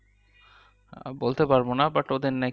বলতে পারবো না but ওদের নাকি